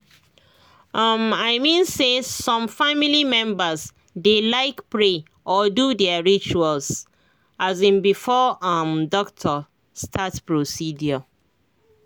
um i mean say some family members dey like pray or do their rituals um before um doctor start procedure